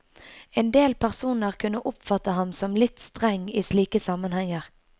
Endel personer kunne oppfatte ham som litt streng i slike sammenhenger.